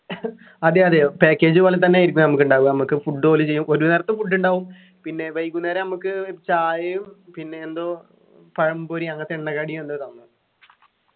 അതെയതെ package പോലെത്തന്നെ ആയിരിക്കും നമ്മക്കുണ്ടാവുക നമ്മക്ക് food ഓല് ചെയ്യും ഒരു നേരത്തെ food ഉണ്ടാവും പിന്നെ വൈകുന്നേരം നമ്മക്ക് ചായയും പിന്നെ എന്തോ പഴംപൊരി അങ്ങനത്തെ എണ്ണക്കടി എന്തോ തന്നു